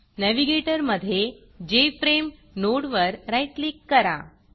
navigator मधे जेएफआरएमई नोडवर राईट क्लिक करा